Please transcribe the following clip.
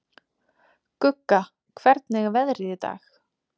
Gugga, hvernig er veðrið í dag?